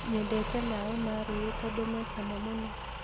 Nyendete maĩ ma rũĩ tondũ me cama mũno